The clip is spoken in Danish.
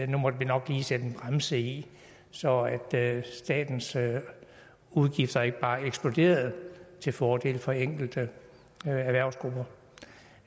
nu måtte man nok lige sætte en bremse i så statens udgifter ikke bare eksploderede til fordel for enkelte erhvervsgrupper